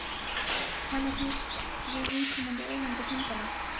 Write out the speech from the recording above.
Talið þið við viðkomandi eigendur hundanna?